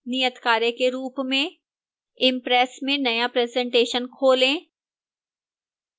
नियतकार्य के रूप में